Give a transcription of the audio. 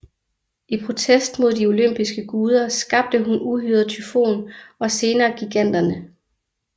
I protest mod de olympiske guder skabte hun uhyret Tyfon og senere giganterne